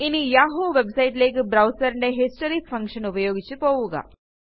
ഇനി യാഹൂ websiteലേയ്ക്ക് browserന്റെ ഹിസ്റ്ററി ഫങ്ഷൻ ഉപയോഗിച്ച് പോവുക